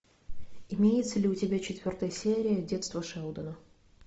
имеется ли у тебя четвертая серия детство шелдона